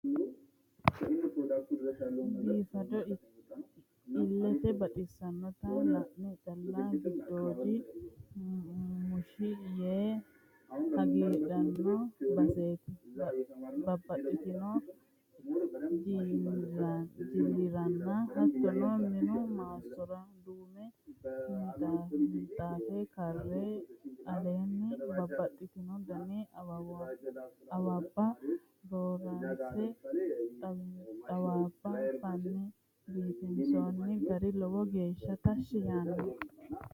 Biifado ilete baxisanotta la'ne calla giddoodi mushi yee hagiidhano baseti, babbaxxino jiliranna hattono minu maassora duume minxafe karre aleenni babbaxino dani awabba raranse xawaabba fane biifinsonni gari lowo geeshsha tashshi assanoho.